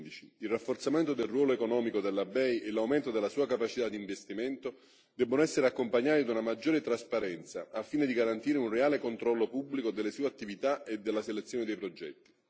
2015. Il rafforzamento del ruolo economico della BEI e l'aumento della sua capacità di investimento debbono essere accompagnati da una maggiore trasparenza al fine di garantire un reale controllo pubblico delle sue attività e della selezione dei progetti.